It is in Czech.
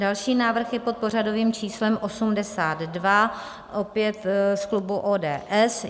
Další návrh je pod pořadovým číslem 82 ,opět z klubu ODS.